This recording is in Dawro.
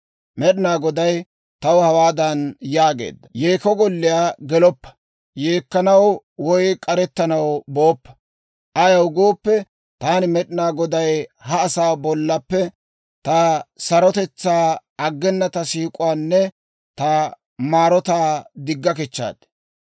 Med'inaa Goday taw hawaadan yaageedda; «Yeekko golliyaa geloppa; yeekkanaw woy k'arettanaw booppa. Ayaw gooppe, taani Med'inaa Goday ha asaa bollappe ta sarotetsaa, aggena ta siik'uwaanne ta maarotaa digga kichchaad.